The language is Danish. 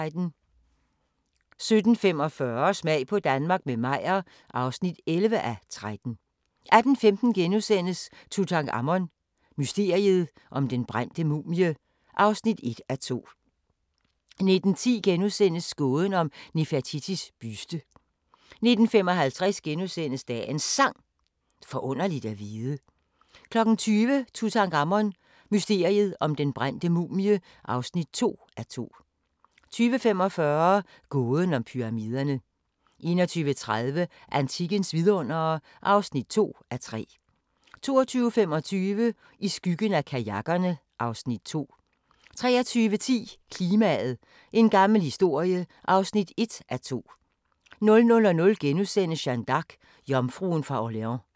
17:45: Smag på Danmark – med Meyer (11:13) 18:15: Tutankhamon: Mysteriet om den brændte mumie (1:2)* 19:10: Gåden om Nefertitis buste * 19:55: Dagens Sang: Forunderligt at vide * 20:00: Tutankhamon: Mysteriet om den brændte mumie (2:2) 20:45: Gåden om Pyramiderne 21:30: Antikkens vidundere (2:3) 22:25: I skyggen af kajakkerne (Afs. 3) 23:10: Klimaet – en gammel historie (1:2) 00:00: Jeanne d'Arc – jomfruen fra Orleans *